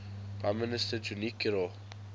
prime minister junichiro